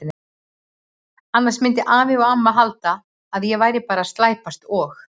Annars myndu afi og amma halda að ég væri bara að slæpast og.